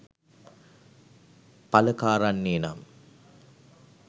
පල කාරන්නේ නම්